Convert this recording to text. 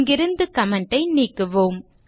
இங்கிருந்து கமெண்ட் ஐ நீக்குவோம்